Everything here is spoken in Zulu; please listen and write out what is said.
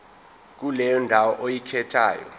kuleyo ndawo oyikhethayo